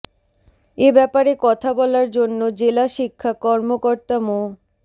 এ ব্যাপারে কথা বলার জন্য জেলা শিক্ষা কর্মকর্তা মো